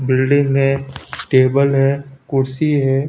Building है table है कुर्सी है।